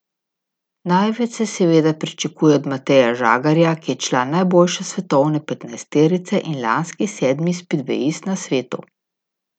Največ se seveda pričakuje od Mateja Žagarja, ki je član najboljše svetovne petnajsterice in lanski sedmi spidvejist na svetu.